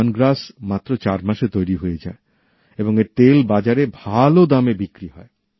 lemongrass মাত্র চার মাসে তৈরি হয়ে যায় এবং এর তেল বাজারে ভাল দামে বিক্রি হয়